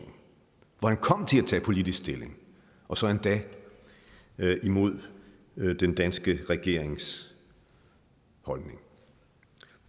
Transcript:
hvor han kom til at tage politisk stilling og så endda imod den danske regerings holdning